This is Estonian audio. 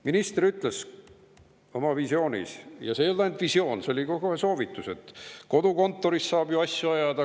Minister ütles oma visioonist – ja see ei olnud ainult visioon, see oli kohe ka soovitus –, et kodukontoris saab ju asju ajada.